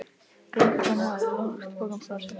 Göngukonan hafði lagt pokann frá sér.